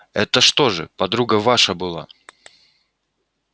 это что же подруга ваша была